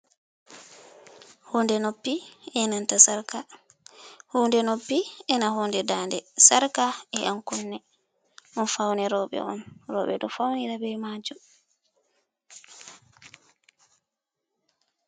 Hunde noppi enanta sarka, hunde noppi ena hunde nda de, sarka e yan kunne, ɗum faune roɓe on, roɓe ɗo faunira be majum.